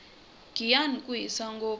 giyani ku hisa ngopfu